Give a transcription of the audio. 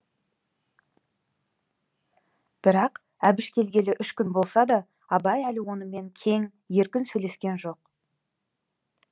бірақ әбіш келгелі үш күн болса да абай әлі онымен кең еркін сөйлескен жоқ